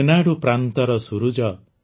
ରେନାଡ଼ୁ ପ୍ରାନ୍ତର ସୂରୁଜ